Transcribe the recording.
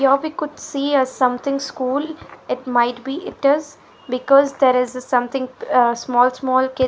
here we could see a something school it might be it is because there is somethimg small small kid --